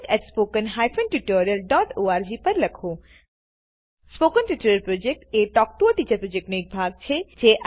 spoken tutorial project talk to a teacher પ્રોજેક્ટનો એક ભાગ છે